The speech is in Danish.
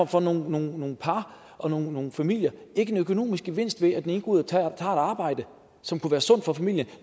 for nogle nogle par og nogle nogle familier ikke en økonomisk gevinst ved at den ene går ud og tager et arbejde som kunne være sundt for familien